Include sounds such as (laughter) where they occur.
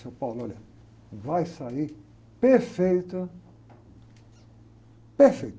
Seu, (unintelligible) olha, vai sair perfeito, perfeito.